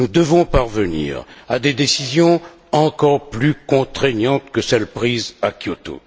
Nous devons parvenir à des décisions encore plus contraignantes que celles prises à Kyoto.